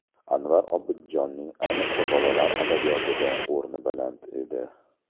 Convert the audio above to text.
Anvar Obidjonning, ayniqsa, bolalar adabiyotida o‘rni baland edi.